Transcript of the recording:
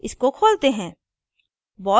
इसको खोलते हैं